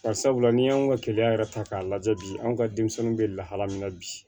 Barisabula n'i y'anw ka keleya yɛrɛ ta k'a lajɛ bi anw ka denmisɛnninw bɛ lahala min na bi